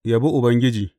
Yabi Ubangiji.